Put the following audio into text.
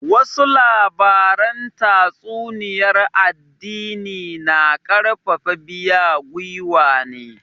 Wasu labaran tatsuniyar addini na karfafa biya gwiwa ne